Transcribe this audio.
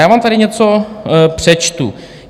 Já vám tady něco přečtu.